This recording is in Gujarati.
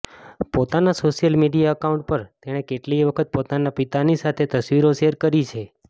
પોતાના સોશિયલ મીડિયા એકાઉન્ટ પર તેણે કેટલીય વખત પોતાના પિતાની સાથે તસવીરો શેર કરી છે